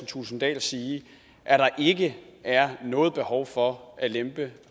thulesen dahl sige at der ikke er noget behov for at lempe